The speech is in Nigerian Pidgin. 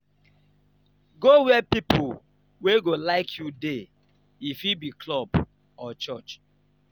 go where pipo wey you like dey go e fit be club or church.